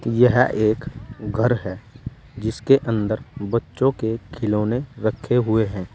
यह एक घर है जिसके अंदर बच्चों के खिलौने रखे हुए हैं।